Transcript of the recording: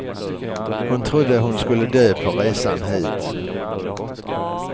Hon trodde hon skulle dö på resan hit.